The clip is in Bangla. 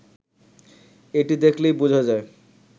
এটি দেখলেই বোঝা যায়